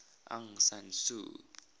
aung san suu